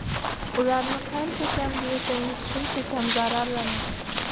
Ularni qancha kam bo‘yasangiz, shuncha kam zararlanadi.